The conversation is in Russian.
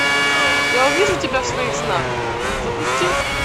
я увижу тебя в своих снах запусти